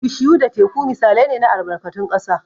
Bishiyu da Teku misalai ne na albarkatun ƙasa.